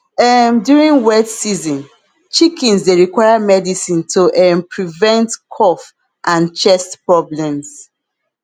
um during wet season chickens dey require medicine to um prevent cough and chest problems